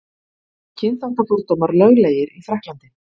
Eru kynþáttafordómar löglegir í Frakklandi?